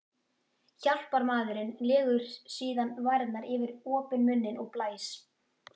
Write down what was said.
Hjálparmaðurinn legur síðan varirnar yfir opinn munninn og blæs.